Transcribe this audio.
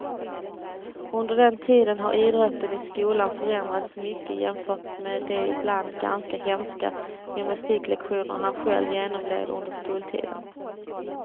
Under den tiden har idrotten i skolan förändrats mycket jämfört med de ibland ganska hemska gymnastiklektioner han själv genomled under skoltiden.